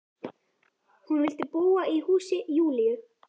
Hún vildi búa í húsi Júlíu.